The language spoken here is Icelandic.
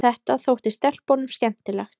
Þetta þótti stelpunum skemmtilegt.